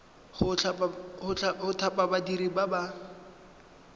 go thapa badiri ba ba